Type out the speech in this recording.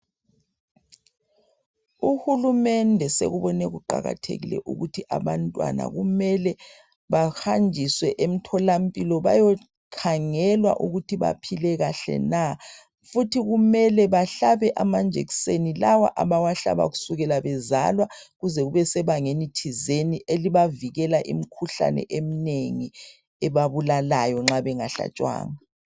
Uhulumende asekubone kuqakathekile ukuthi abantwana kumele bahanjiswe emtholampilo. Bayekhangelwa ukuthi baphile kahle na? Futhi kumele bahlabe amanjekiseni lawa abawahlaba kusukela bezalwa. Kuze kube sebangeni thizeni . Elibavikela imikhuhlane eminengi, ebabulalayo nxa bengahlatshwanga.